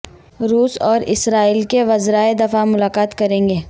روس اور اسرائیل کے وزراء دفاع ملاقات کریں گے